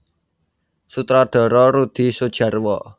Sutradara Rudi Soedjarwo